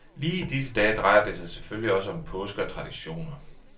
Lige i disse dage drejer det sig selvfølgelig også om påske og traditioner.